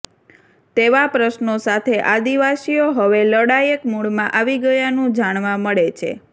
તેવા પ્રશ્નો સાથે આદિવાસીઓ હવે લડાયક મુડમાં આવી ગયાનું જાણવા મળે છે